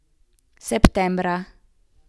Septembra.